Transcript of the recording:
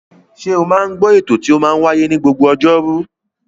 Ṣe o máa ń gbọ́ ètò tí ó máa ń wáyé ní gbogbo ọjọ́ Ọjọ́rú?